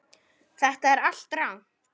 Þetta er allt rangt.